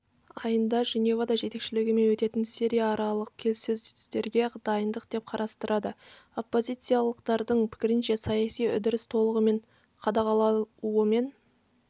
айында женевада жетекшілігімен өтетін сирияаралық келіссөздерге дайындық деп қарастырады оппозициялықтардың пікірінше саяси үдеріс толығымен қадағалауымен